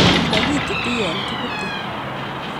Mokitutu yon kibute.